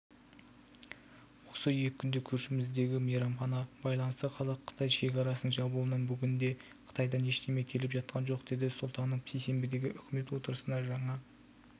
осы екі күнде көршіміздегі мейрамға байланысты қазақстан-қытай шекарасының жабылуынан бүгінде қытайдан ештеме келіп жатқан жоқ деді сұлтанов сейсенбідегі үкімет отырысында жаңа